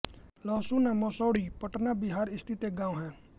लहसूना मसौढी पटना बिहार स्थित एक गाँव है